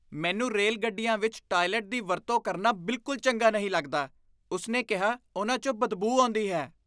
ਮੈਨੂੰ ਰੇਲ ਗੱਡੀਆਂ ਵਿੱਚ ਟਾਇਲਟ ਦੀ ਵਰਤੋਂ ਕਰਨਾ ਬਿਲਕੁਲ ਚੰਗਾ ਨਹੀਂ ਲੱਗਦਾ, ਉਸਨੇ ਕਿਹਾ, "ਉਨ੍ਹਾਂ 'ਚੋਂ ਬਦਬੂ ਆਉਂਦੀ ਹੈ"